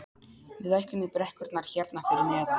Við ætlum í brekkurnar hérna fyrir neðan.